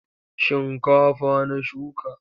Shinkafa na shuka.